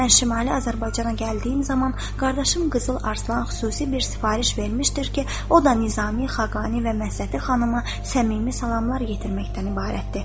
Mən Şimali Azərbaycana gəldiyim zaman qardaşım Qızıl Arslan xüsusi bir sifariş vermişdir ki, o da Nizami, Xaqani və Məhsəti xanımı səmimi salamlar yetirməkdən ibarətdir.